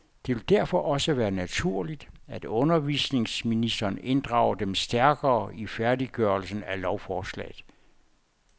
Det vil derfor også være naturligt, at undervisningsministeren inddrager dem stærkere i færdiggørelsen af lovforslaget.